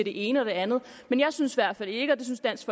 ene og det andet men jeg synes i hvert fald ikke og det synes dansk